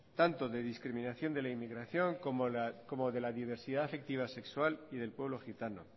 tanto de discriminación de la inmigración como de la diversidad afectiva sexual y del pueblo gitano